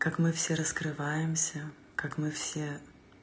как мы все раскрываемся как мы все